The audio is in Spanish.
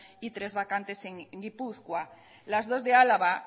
y tres vacantes en gipuzkoa las dos de álava